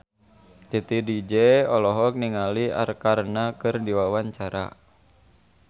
Titi DJ olohok ningali Arkarna keur diwawancara